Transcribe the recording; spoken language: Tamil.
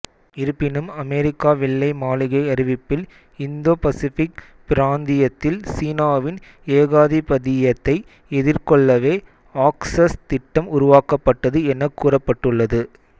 இருப்பினும் அமெரிக்க வெள்ளை மாளிகை அறிவிப்பில் இந்தோ பசிபிக் பிராந்தியத்தில் சீனாவின் ஏகாதிபத்தியத்தை எதிர்கொள்ளவே ஆக்சஸ் திட்டம் உருவாக்கப்பட்டது எனக்கூறப்பட்டுள்ளது